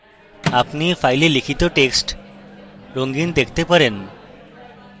আপনি you ফাইলটিতে লিখিত টেক্সটটি রঙিন দেখতে পারেন